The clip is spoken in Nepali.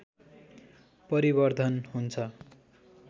परिवर्धन हुन्छ।